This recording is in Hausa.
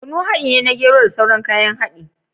Kunu haɗi ne na gero da sauran kayan haɗi